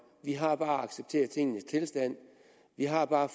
vi har bare at acceptere tingenes tilstand vi har bare at